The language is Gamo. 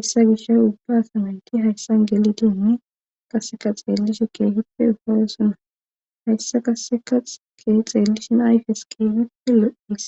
issa gisha ubba asamenti hayssan gelitiinne qaseka xeellishe keehippe ufayasona hayssa kaseka xike xeellishin ayfes kieygippe lo7is